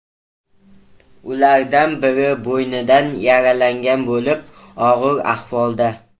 Ulardan biri bo‘ynidan yaralangan bo‘lib, og‘ir ahvolda.